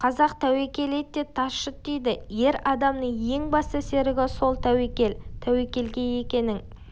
қазақ тәуекел ет те тас жұт дейді ер адамның ең басты серігі сол тәуекел тәуекелге екінің